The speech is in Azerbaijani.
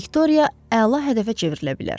Viktoriya əla hədəfə çevrilə bilər.